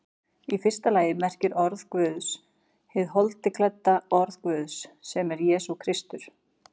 Í fyrsta lagi merkir orð Guðs hið holdi klædda orð Guðs, sem er Jesús Kristur.